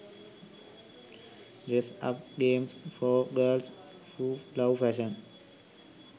dress up games for girls who love fashion